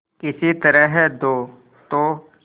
किसी तरह दो तो